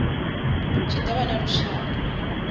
tshi do vha na vhushaka